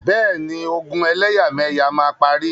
Bẹ́ẹ̀ni, ogun ẹlẹ́yàmẹyà máa parí.